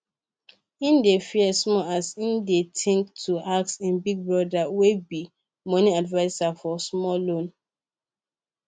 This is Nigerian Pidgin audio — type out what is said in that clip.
he dey fear small as e dey think to ask him big brother wey be money adviser for small loan